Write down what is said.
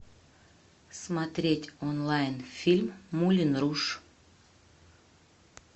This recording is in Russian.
смотреть онлайн фильм мулен руж